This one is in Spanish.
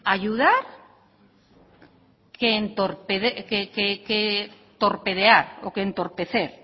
ayudar que entorpecer